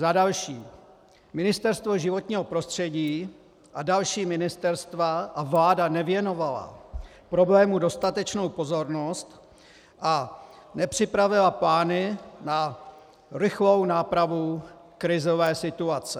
Za další, Ministerstvo životního prostředí a další ministerstva a vláda nevěnovaly problému dostatečnou pozornost a nepřipravily plány na rychlou nápravu krizové situace.